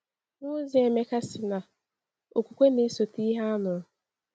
Nwaozi Emeka sị na “okwukwe na-esote ihe a nụrụ.”